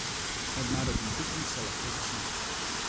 Mednarodni piknik se lahko začne.